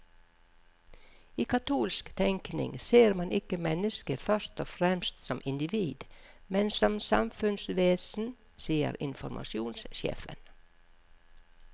I katolsk tenkning ser man ikke mennesket først og fremst som individ, men som samfunnsvesen, sier informasjonssjefen.